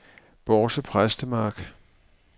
Bårse Præstemark